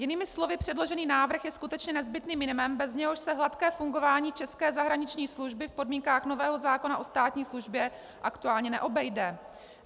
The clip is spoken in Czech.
Jinými slovy, předložený návrh je skutečně nezbytným minimem, bez něhož se hladké fungování české zahraniční služby v podmínkách nového zákona o státní službě aktuálně neobejde.